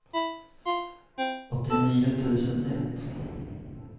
åttionio tusen ett